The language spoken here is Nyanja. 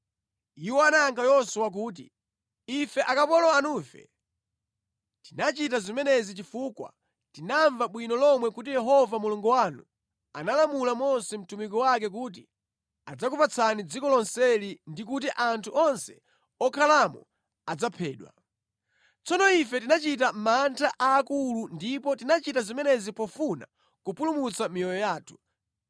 Iwo anayankha Yoswa kuti, “Ife akapolo anufe tinachita zimenezi chifukwa tinamva bwino lomwe kuti Yehova Mulungu wanu analamula Mose mtumiki wake kuti adzakupatsani dziko lonseli ndi kuti anthu onse okhalamo adzaphedwe. Tsono ife tinachita mantha aakulu ndipo tinachita zimenezi pofuna kupulumutsa miyoyo yathu.